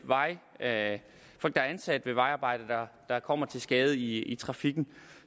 at folk der er ansat ved vejarbejde kommer til skade i trafikken